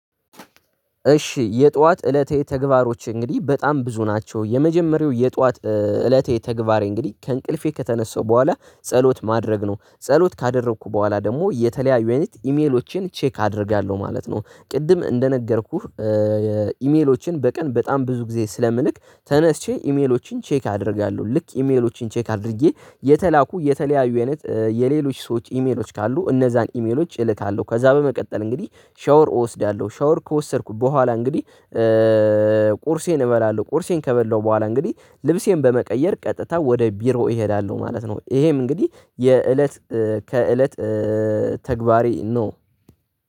እሺ የጧት እለቴ ተግባሮች እንግዲህ በጣም ብዙ ናቸው። የመጀመሪያው የጧት እለቴ ተግባሬ እንግዲህ ከእንቅልፌ ከተነሳው በኋላ ጸሎት ማድረግ ነው ጸሎት ካደረኩ በኋላ ደግሞ የተለያዩ አይነት ኢሜሎቼን ቼክ አደርጋለሁ ማለት ነው። ቅድም እንደነገርኩህ። ኢሜሎቼን በቀን በጣም ብዙ ጊዜ ስለምልክ ተነስቼ ኢሜሎችን ቼክ አደርጋለሁ። ልክ ኢሜሎችን ቼክ አድርጌ የተላኩ የተለያዩ አይነት የሌሎች ሰዎች ኢሜሎች ካሉ እነዛን ኢሜሎች እልካለሁ። ከዛ በመቀጠል እንግዲህ ሻወር እወስዳለሁ። ሻወር ከወሰድኩ በኋላ እንግዲህ ቁርሴን እበላለሁ። ቁርሴን ከበላሁ በኋላ እንግዲህ ልብሴን በመቀየር ቀጥታ ወደ ቢሮ እሄዳለሁ ማለት ነው። ይሄም እንግዲህ የእለት ከእለት ተግባሬ ነው።